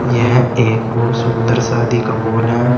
यह एक बहुत सुंदर शादी का मोहोल है।